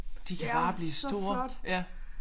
De kan bare blive store ja